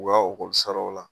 U ka ɔkɔlisaraw la.